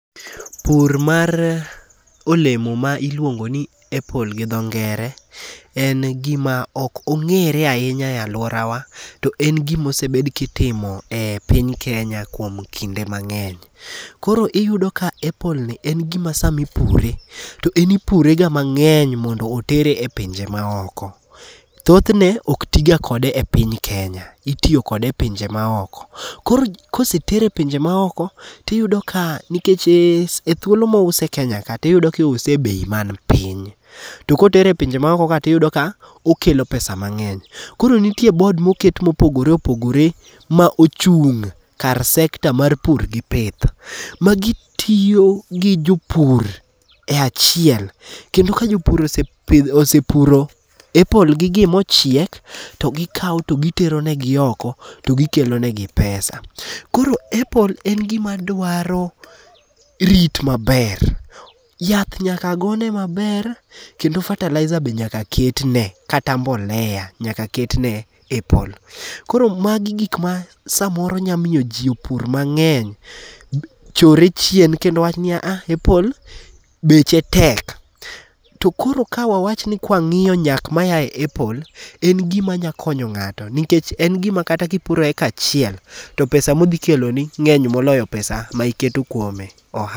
Pur mar olemo ma iluongo ni apple gi dho ngere in gima ok ong'ere ahinya e aluora wa. To en gima osebed kitimo e piny Kenya kuom kinde mang'eny. Koro iyudo ka apple ni en gima sami pure, to en ipure ga mang'eny mondo otere e pinje ma oko. Thoth ne ok ti ga kode e piny Kenya, itiyo kode e pinje ma oko. Koro kosetere e pinje ma oko, tiyudo ka nikech e thuolo mo use e Kenya to iyudo ka iuse e bei man piny. To kotere e pinje ma oko ka tiyudo ka okelo pesa mang'eny. Koro nitiere board moket mopogore opogore ma ochung' kar sector mar pur gi pith. Magitiyo gi jopur e achiel, kendo ka jopur osepidho osepuro apple gigi mochiek to gikaw to gitero ne gi oko to gi kelo negi pesa. Koro appl e en gima dwaro rit maber. Yath nyaka go ne maber. Kendo fertiliser be nyaka ket ne kata mbolea nyaka ketne apple. Kor magi gik ma samoro nya miyo jopur mang'eny chor re chien kendo wach niya a a apple beche tek. To koro ka wa wach ni kwa ng'iyo nyak ma yae apple, en gima nyalo konyo ng'ato. Nikech en gima kata kipuro acre achiel to pesa modhikelo ni ng'eny moloyo pesa ma iketo kuome.